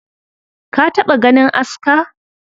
Ka taɓa ganin aska?